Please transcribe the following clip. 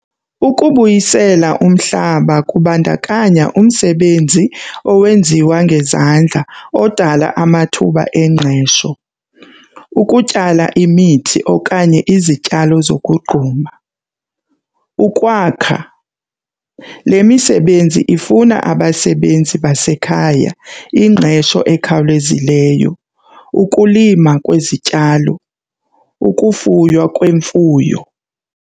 Ukubuyisela umhlaba kubandakanya umsebenzi owenziwa ngezandla odala amathuba engqesho. Ukutyala imithi okanye izityalo zokugquma, ukwakha. Le misebenzi ifuna abasebenzi basekhaya, ingqesho ekhawulezileyo, ukulima kwezityalo, ukufuywa kwemfuyo.